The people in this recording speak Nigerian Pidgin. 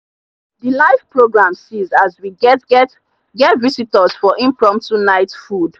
the live program seize as we get get get visitors for impromptu night food.